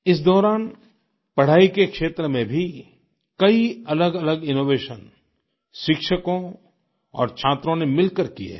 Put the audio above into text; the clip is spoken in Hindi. इस दौरान पढ़ाई के क्षेत्र में भी कई अलगअलग इनोवेशन शिक्षकों और छात्रों ने मिलकर किए हैं